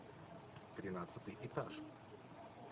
тринадцатый этаж